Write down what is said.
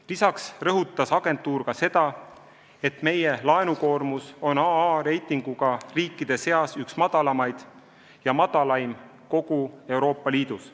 Lisaks rõhutas agentuur ka seda, et meie laenukoormus on AA- reitinguga riikide seas üks kõige madalamaid ja madalaim kogu Euroopa Liidus.